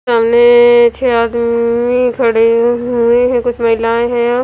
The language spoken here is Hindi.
सामने छ आदमी खड़े हुए हैं कुछ महिलाऐ हैं और--